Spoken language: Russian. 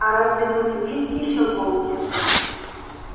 а разве тут есть ещё волки